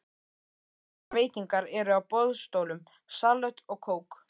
Svolitlar veitingar eru á boðstólum, salöt og kók.